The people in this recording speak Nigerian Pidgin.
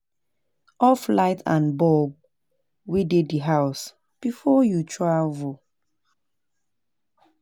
Off light and bulb wey dey di house before you travel